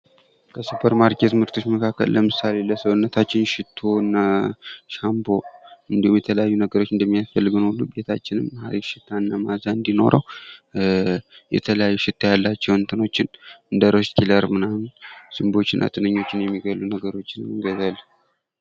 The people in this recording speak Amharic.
ከሱፐር ማርኬት ምርቶች መካከል ለምሳሌ ለሰውነታችን ሽቶና ሻምቦ እድሁም የተለያዩ ነገሮች እንደሚያስፈልገን ቤታችንም ሃሪፍ ሽታና መዐዛ እንድኖረው የተለያዩ ሽታ ያላቸው ነገሮችን እንደ ሮዝ ኪለር ምናምን ዝንቦችና ትንኞችን የሚገሉ ነገሮችን እንገዛለን።